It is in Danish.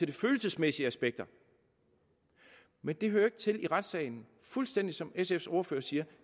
de følelsesmæssige aspekter men det hører ikke til under retssagen fuldstændig som sf’s ordfører siger